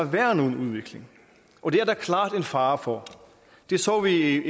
være nogen udvikling og det er der klart en fare for det så vi i